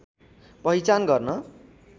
पहिचान गर्न